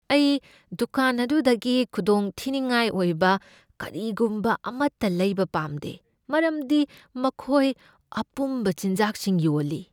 ꯑꯩ ꯗꯨꯀꯥꯟ ꯑꯗꯨꯗꯒꯤ ꯈꯨꯗꯣꯡꯊꯤꯅꯤꯡꯉꯥꯏ ꯑꯣꯏꯕ ꯀꯔꯤꯒꯨꯝꯕ ꯑꯃꯠꯇ ꯂꯩꯕ ꯄꯥꯝꯗꯦ ꯃꯔꯝꯗꯤ ꯃꯈꯣꯏ ꯑꯄꯨꯝꯕ ꯆꯤꯟꯖꯥꯛꯁꯤꯡ ꯌꯣꯜꯂꯤ꯫